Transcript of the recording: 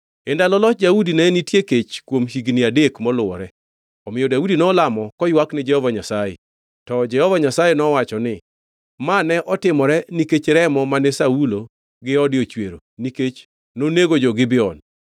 E ndalo loch Daudi, ne nitie kech kuom higni adek moluwore; omiyo Daudi nolamo koywak ni Jehova Nyasaye. To Jehova Nyasaye nowacho ni, “Ma ne otimore nikech remo mane Saulo gi ode ochwero, nikech nonego jo-Gibeon.”